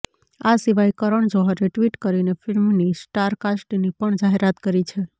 આ સિવાય કરણ જોહરે ટ્વીટ કરીને ફિલ્મની સ્ટારકાસ્ટની પણ જાહેરાત કરી છે